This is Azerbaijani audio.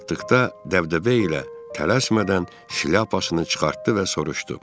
Gəlib çatdıqda dəbdəbə ilə, tələsmədən şlyapasını çıxartdı və soruşdu: